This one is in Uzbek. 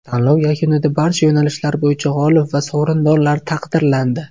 Tanlov yakunida barcha yo‘nalishlar bo‘yicha g‘olib va sovrindorlar taqdirlandi.